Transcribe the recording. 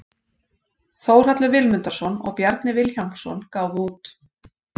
Þórhallur Vilmundarson og Bjarni Vilhjálmsson gáfu út.